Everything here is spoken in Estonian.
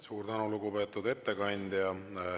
Suur tänu, lugupeetud ettekandja!